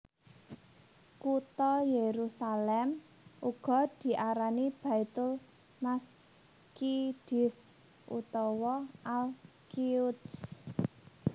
Kutha Yerusalem uga diarani Baitul Maqdis utawa Al Quds